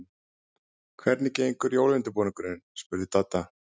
Hvernig gengur jólaundirbúningurinn? spurði Dadda.